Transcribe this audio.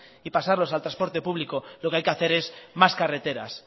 y pasarlos al transporte público lo que hay que hacer es más carreteras